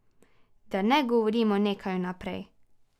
Da ne govorimo nekaj vnaprej.